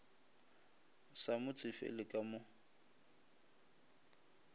sa mo tsefele ka mo